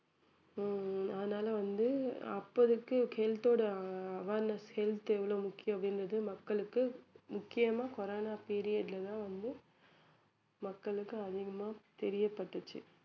ஹம் அதனால வந்து அப்போதைக்கு health ஓட ஆஹ் awareness health எவ்ளோ முக்கியம் அப்படின்றது மக்களுக்கு முக்கியமாக கொரோனா period ல தான் வந்து மக்களுக்கு அதிகமா தெரிய பட்டுச்சு